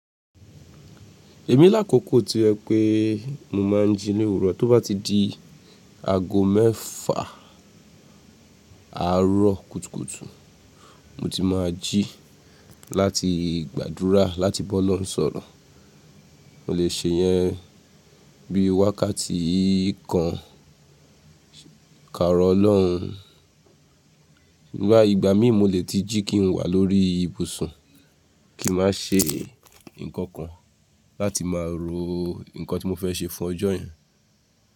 Èmi l'akòókò ti jẹ wipé mo máa ń ji ni èwùró tó bá ti di aago mẹ́fà àárọ̀ kùtùkùtù mo ti máa jí láti gbàdúrà láti ba Ọlọ́run sọ̀rọ̀. Mo lè ṣe iyẹn bí wákàtí kan karọ̀ Ọlọ́run. Nígbà mí mọ́ lè tí jí kí n wà lórí ìbùsùn kí n ma ṣe ǹkan kan láti máa ro ǹkan tí mo fẹ́ ṣe fún ọjọ́ yẹn.